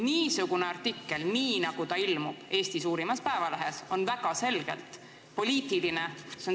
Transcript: Niisugune artikkel, nii nagu see ilmus Eesti ühes suuremas päevalehes, on väga selgelt poliitiline.